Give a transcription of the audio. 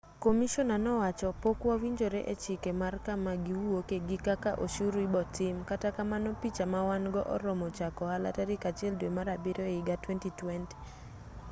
komishona nowacho pok wawinjore e chike mar kama giwuoke gi kaka oshuru ibotim kata kamano picha mawan-go oromo chako ohala tarik 1 dwe mar abiriyo ehiga 2020